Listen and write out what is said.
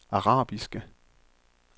arabiske